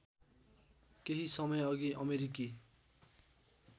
केही समयअघि अमेरिकी